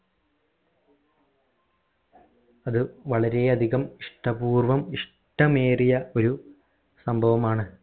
അത് വളരെ അധികം ഇഷ്ടപൂർവ്വം ഇഷ്ട്ടമേറിയ ഒരു സംഭവമാണ്